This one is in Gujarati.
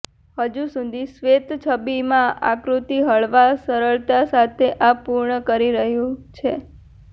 હજુ સુધી શ્વેત છબી માં આકૃતિ હળવા સરળતા સાથે આ પૂર્ણ કરી રહ્યું છે